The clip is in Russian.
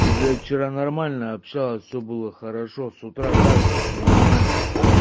ты блять вчера нормально общалась все было хорошо с утра так же все нормально